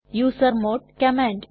user mode command